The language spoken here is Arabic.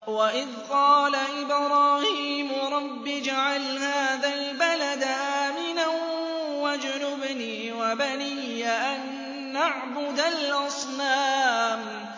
وَإِذْ قَالَ إِبْرَاهِيمُ رَبِّ اجْعَلْ هَٰذَا الْبَلَدَ آمِنًا وَاجْنُبْنِي وَبَنِيَّ أَن نَّعْبُدَ الْأَصْنَامَ